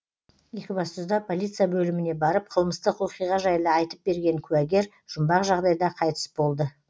екібастұзда полиция бөліміне барып қылмыстық оқиға жайлы айтып берген куәгер жұмбақ жағдайда қайтыс болды